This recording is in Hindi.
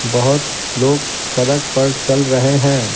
बहुतलोग सड़क परचल रहे हैं।